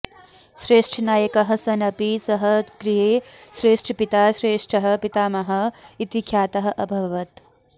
श्रेष्ठनायकः सन् अपि सः गृहे श्रेष्ठपिता श्रेष्ठः पितामहः इति ख्यातः अभवत्